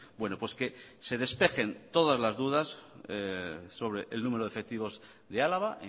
bueno pues que se despejen todas las dudas sobre el número de efectivos de álava